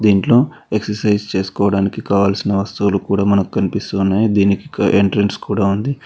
ఇంట్లో ఎక్సర్సైజ్ చేసుకోవడానికి కావలసిన వస్తువులు కూడా మనకు కనిపిస్తూనే దీనికి ఎంట్రెన్స్ కూడా ఉంది.